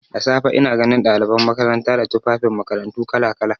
Da safe ina ganin ɗaliban makaranta da tufafin makarantu kala-kala.